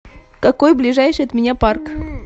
какой ближайший от меня парк